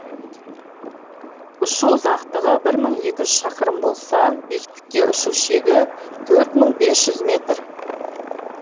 ұшу ұзақтығы бір мың екі жүз шақырым болса биіктікке ұшу шегі төрт мың бес жүз метр